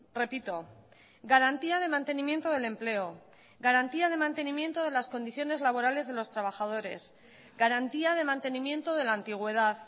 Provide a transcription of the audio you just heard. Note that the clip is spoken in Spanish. repito garantía de mantenimiento del empleo garantía de mantenimiento de las condiciones laborales de los trabajadores garantía de mantenimiento de la antigüedad